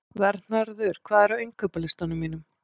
Vernharður, hvað er á innkaupalistanum mínum?